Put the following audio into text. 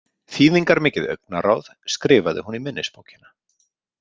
Þýðingarmikið augnaráð, skrifaði hún í minnisbókina.